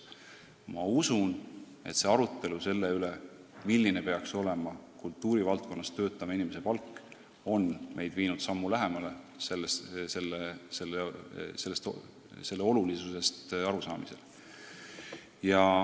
Ma usun, et see arutelu selle üle, kui suur peaks olema kultuurivaldkonnas töötava inimese palk, on meid viinud sammu lähemale selle töö olulisusest arusaamisele.